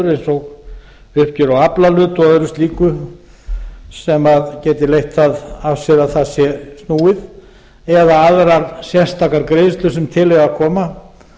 eins og uppgjör á aflahlut og öðru slíku sem geti leitt það af sér að það sé snúið eða aðrar sérstakar greiðslur sem til eiga að koma